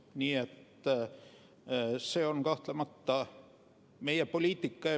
Nii et see on kahtlemata meie poliitika.